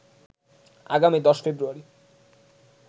আগামী ১০ ফ্রেব্রয়ারি